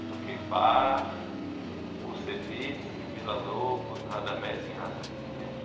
Eu toquei Bach, Kusevitzky, Villa-Lobos, Radamés e Nátaly, eu lembro.